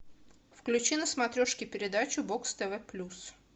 включи на смотрешке передачу бокс тв плюс